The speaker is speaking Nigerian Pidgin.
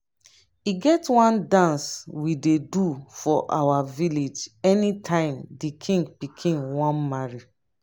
e get one dance we ey do for our village anytime the king pikin wan marry